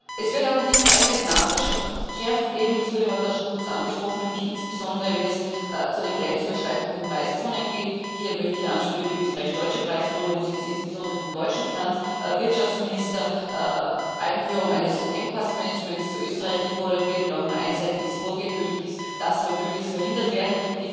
Es wird allerdings einiges nachzuschärfen geben es wurde heute auch schon kurz angesprochen nämlich insbesondere, wenn es um die grenzüberschreitenden Preiszonen geht. Hier möchte ich die österreichisch deutsche Preiszone anführen, wo jetzt insbesondere vom deutschen Wirtschaftsminister die Einführung eines Engpassmanagements zu Österreich gefordert wird und auch ein einseitiges Vorgehen möglich ist Das soll möglichst verhindert werden.